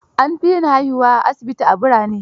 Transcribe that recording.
An fi yin haihuwar asibiti, a birane.